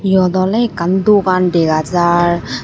Yot ole ekkan dogan dega jaar.